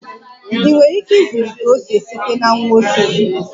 Ị nwere ike ịzụlite ose site na nwa osisi?